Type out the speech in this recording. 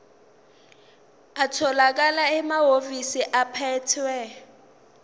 atholakala emahhovisi abaphethe